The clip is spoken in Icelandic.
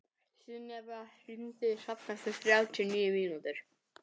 Sunneva, hringdu í Hrafn eftir þrjátíu og níu mínútur.